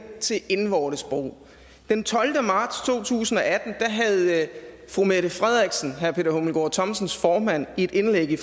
til indvortes brug den tolvte marts to tusind og atten havde fru mette frederiksen herre peter hummelgaard thomsens formand et indlæg i